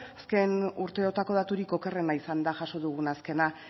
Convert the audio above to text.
azken urteotako daturik okerrena izan da jaso dugun azkena